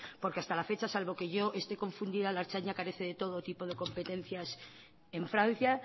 porque hasta la fecha salvo que yo esté confundida la ertzaintza carece de todo tipo de competencias en francia